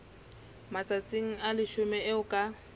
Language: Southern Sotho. matsatsi a leshome eo ka